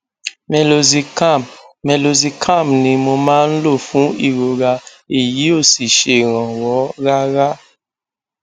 meloxicam meloxicam ni mo máa ń lò fún ìrora èyí ò sì ṣèrànwọ rárá